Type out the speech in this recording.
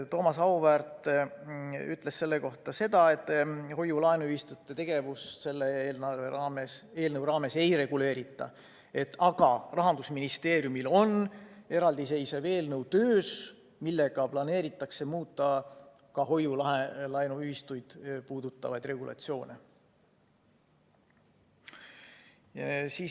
Thomas Auväärt ütles selle kohta, et hoiu-laenuühistute tegevust selle eelnõu raames ei reguleerita, aga Rahandusministeeriumil on töös eraldiseisev eelnõu, millega planeeritakse muuta ka hoiu-laenuühistuid puudutavaid regulatsioone.